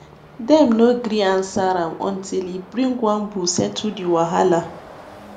dem no gree answer am until e bring one bull settle the wahala